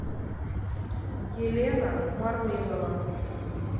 елена мармилова